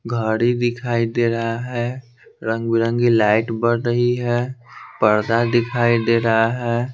घड़ी दिखाई दे रहा है रंग-बिरंगी लाइट बढ़ रही है पर्दा दिखाई दे रहा है।